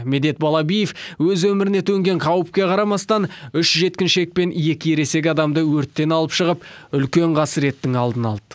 медет балабиев өз өміріне төнген қауіпке қарамастан үш жеткіншек пен екі ересек адамды өрттен алып шығып үлкен қасіреттің алдын алды